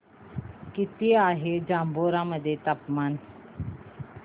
किती आहे जांभोरा मध्ये तापमान